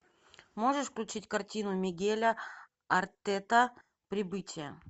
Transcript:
можешь включить картину мигеля артета прибытие